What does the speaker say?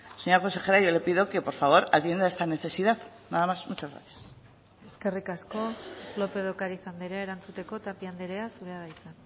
señora consejera yo le pido que por favor atienda esta necesidad nada más muchas gracias eskerrik asko lópez de ocariz andrea erantzuteko tapia andrea zurea da hitza